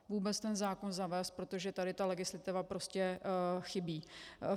Vůbec ten zákon zavést, protože tady ta legislativa prostě chybí.